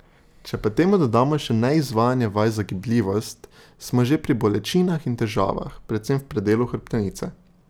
Če pa temu dodamo še neizvajanje vaj za gibljivost, smo že pri bolečinah in težavah, predvsem v predelu hrbtenice.